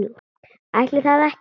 Ætli það ekki?